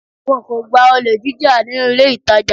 Wọn kò gba olè jíjà nínú ilé ìtàjà.